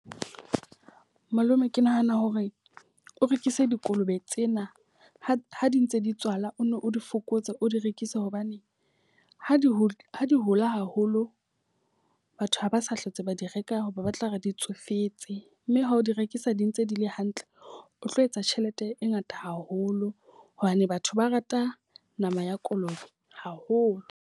Malome ke nahana hore o rekise dikolobe tsena ha di ha di ntse di tswala, o nno o di fokotse o di rekise hobane ha di hole di hole haholo. Batho ha ba sa hlotse ba di reka ho ba ba tla re di tsofetse. Mme ha o di rekisa di ntse di le hantle, o tlo etsa tjhelete e ngata haholo hobane batho ba rata nama ya kolobe haholo.